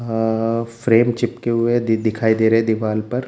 अ frame चिपके हुए है दी दिखाई दे रहे है दीवाल पर।